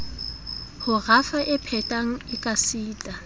ho rafa e phethwang ekasita